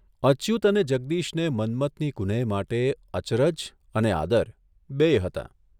અચ્યુત અને જગદીશને મન્મથની કુનેહ માટે અચરજ અને આદર બેય હતાં.